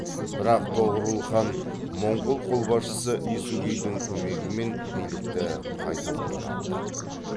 бірақ тоғорыл хан моңғол қолбасшысы есугейдің көмегімен билікті қайта қолына алды